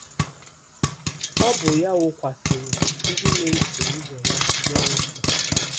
Ọ bụ ya wụkwasịrị ndị na-eso ụzọ ya mmụọ nsọ.